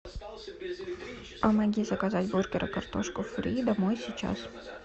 помоги заказать бургер и картошку фри домой сейчас